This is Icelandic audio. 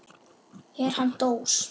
Er hann dós?